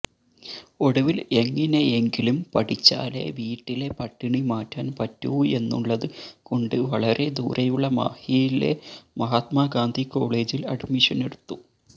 ഒടുവിൽ എങ്ങിനെയെങ്കിലും പഠിച്ചാലേ വീട്ടിലെ പട്ടിണി മാറ്റാൻ പറ്റൂ എന്നുള്ളത് കൊണ്ട് വളരെ ദൂരെയുള്ള മാഹിയിലെ മഹാത്മാഗാന്ധി കോളേജിൽ അഡ്മിഷനെടുത്തു